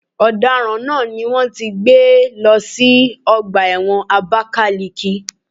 Ọ̀daràn náà ni wón ti gbé lọ sí ọgbà ẹ̀wọ̀n Abakaliki.